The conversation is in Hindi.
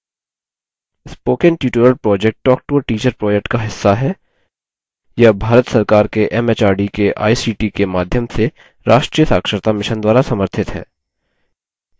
spoken tutorial project talktoateacher project का हिस्सा है यह भारत सरकार के एमएचआरडी के आईसीटी के माध्यम से राष्ट्रीय साक्षरता mission द्वारा समर्थित है